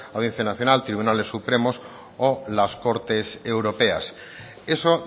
audiencia nacional tribunales supremos o las cortes europeas eso